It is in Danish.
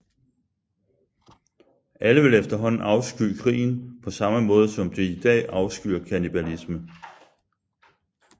Alle vil efterhånden afsky krigen på samme måde som de i dag afskyr kannibalisme